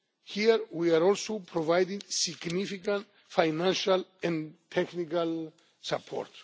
states. Here we are also providing significant financial and technical